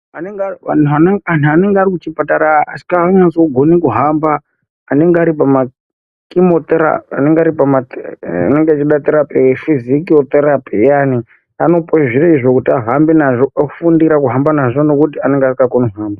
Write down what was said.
Anhu anenge ari muzvipatara asinganyatsi kugone kuhamba anenge aripama fizotherapi anopihwe zviro zvekuhamba nazvo ngekuti anenge asingakoni kuhamba.